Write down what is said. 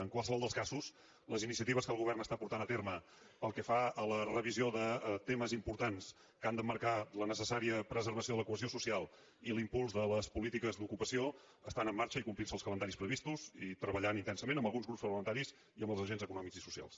en qualsevol dels casos les iniciatives que el govern porta a terme pel que fa a la revisió de temes importants que han d’emmarcar la necessària preservació de la cohesió social i l’impuls de les polítiques d’ocupació estan en marxa i complint se els calendaris previstos i treballant intensament amb alguns grups parlamentaris i amb els agents econòmics i socials